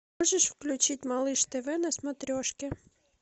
можешь включить малыш тв на смотрешке